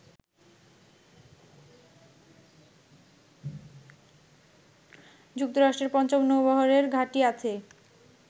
যুক্তরাষ্ট্রের পঞ্চম নৌবহরের ঘাঁটি আছে